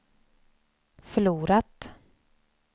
förlorat